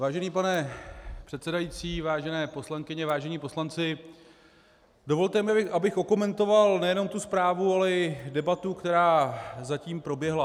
Vážený pane předsedající, vážené poslankyně, vážení poslanci, dovolte mi, abych okomentoval nejenom tu zprávu, ale i debatu, která zatím proběhla.